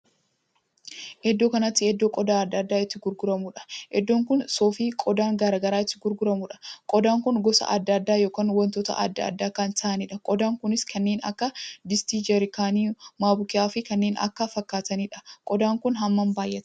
Iddoo kanatti iddoo qodaa addaa addaa itti gurguramuudha. iddoon kun suufii qodaan garaagaraa itti gurguramuudha. qodaan kun gosa addaa addaa ykn wantoota addaa addaa kan ta'aniidha. qodaa kunis kanneen akka distii, jaarkaanii, mokobiyaafi kanneen kana fakkaataniidha. qodaan kun hammam baay'ata!